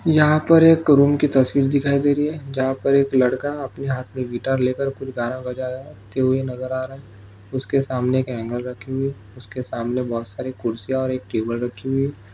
यहा पर एक रूम की तस्वीर दिखाई दे रही है जहां पर एक लड़का अपनी हाथ मे गिटार लेकर कुछ गाना बजते हुए नज़र आ रहा है उसके सामने एक ऐंगल रखी हुई है उसके सामने बहुत सारी कुर्सियाँ और एक टेबल रखी हुई है।